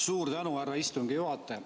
Suur tänu, härra istungi juhataja!